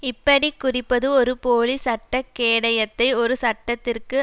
இப்படி குறிப்பது ஒரு போலி சட்ட கேடயத்தை ஒரு சட்டத்திற்கு